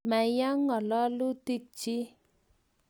ma ya ng'alalutikchich